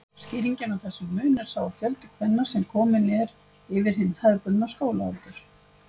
Skýringin á þessum mun er sá fjöldi kvenna sem kominn er yfir hinn hefðbundna skólaaldur.